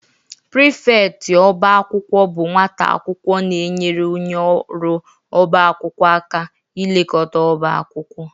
Prifeti ọba akwụkwọ bụ nwata akwụkwọ na-enyere onye ọrụ ọba akwụkwọ aka ilekọta ọba akwụkwọ